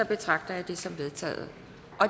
betragter jeg det som vedtaget